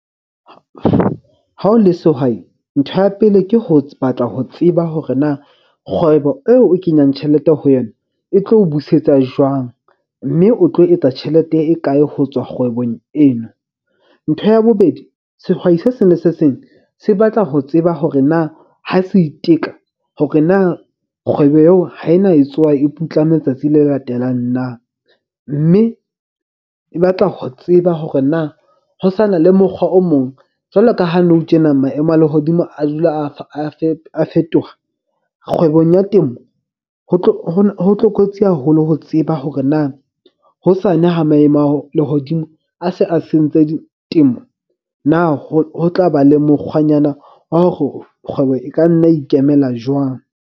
Ha o le sehwai, ntho ya pele ke ho batla ho tseba hore na kgwebo eo o kenyang tjhelete ho yona e tlo o busetsa jwang. Mme o tlo etsa tjhelete e kae ho tswa kgwebong eno? Ntho ya bobedi sehwai se seng le se seng se batla ho tseba hore na ha se iteka hore na kgwebo eo ha ena e tsoha e putlame tsatsi le latelang na. Mme e batla ho tseba hore na ho sa na le mokgwa o mong. Jwalo ka ha nou tjena, maemo a lehodimo a dula a fetoha. Kgwebong ya temo ho ho tlokotsi haholo ho tseba hore na hosane ha maemo a lehodimo a se a sentse temo, na ho tla ba le mokgwanyana wa hore kgwebo e ka nna ikemela jwang?